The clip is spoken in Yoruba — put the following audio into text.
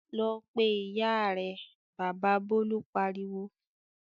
"Lọ pe ìyá rẹ!" Bàbá Bólú pariwo.